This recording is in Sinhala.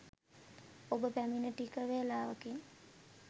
ඔබ පැමිණ ටික වේලාවකින්